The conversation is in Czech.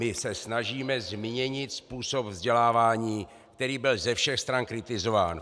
My se snažíme změnit způsob vzdělávání, který byl ze všech stran kritizován.